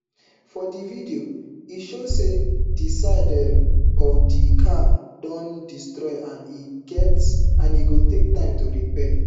for di video e show say di side um of di car don destroy and e go take time to repair